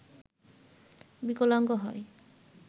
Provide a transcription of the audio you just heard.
বিকলাঙ্গ হয়